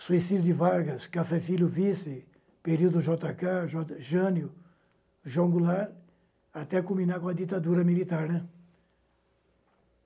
Suicídio de Vargas, Café Filho vice, período Jota Cá, Jota Jânio, João Goulart, até culminar com a ditadura militar, né?